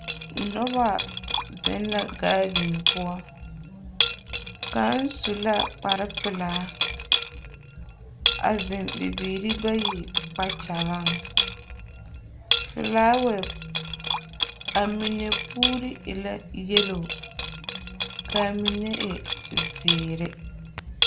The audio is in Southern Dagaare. Noba zeŋ la gaaden poɔ. Kaŋ su la kpare pelaa a zeŋbibiiri bayi kpakyagaŋ. Felaawŋŋse a mine puuri e la yelo ka a mine e zeere.